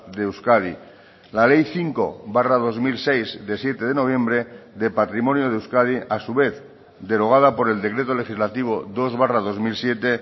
de euskadi la ley cinco barra dos mil seis de siete de noviembre de patrimonio de euskadi a su vez derogada por el decreto legislativo dos barra dos mil siete